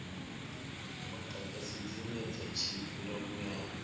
mudagasi dzine dza tshimbila muyani